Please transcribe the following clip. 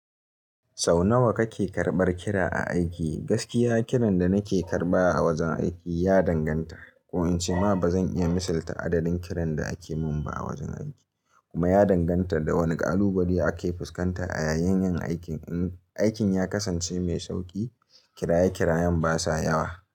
Sau nawa kake karɓar kira a aiki? Gaskiya kiran da nake karɓa a wajen aiki ya danganta. Ko in ce ma ba zan iya misalta adadin kiran da ake mun ba a wajen aiki. Kuma ya danganta da wane alubadi ake fuskanta a yayanyen aikin. In aikin ya kasance mai sauƙi, kira ya kira'yan basa yawa.